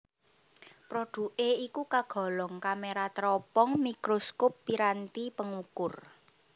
Produké iku kagolong kamera teropong mikroskop piranti pengukur